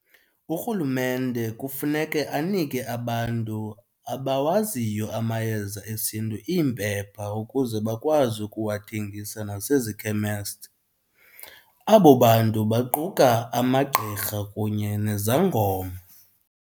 Urhulumente kufuneke anike abantu abawaziyo amayeza esiNtu iimpepha ukuze bakwazi ukuwathengisa nasezikhemesti. Abo bantu baquka amagqirha kunye nezangoma.